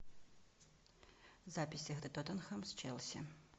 запись игры тоттенхэм с челси